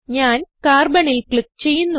ഞാൻ Carbonൽ ക്ലിക്ക് ചെയ്യുന്നു